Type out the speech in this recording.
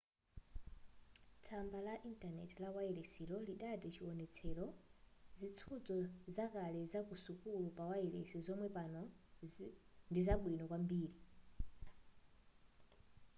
tsamba la intaneti la wayilesiyo lidati chiwonetserocho zisudzo zakale zaku sukulu pawayilesi zomwe pano ndizabwino kwambiri